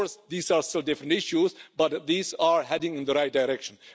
Of course these are different issues but they are heading in the right direction.